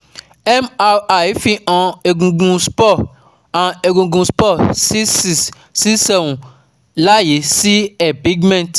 MRI fi han egungun spur han egungun spur c six c seven layi si empingment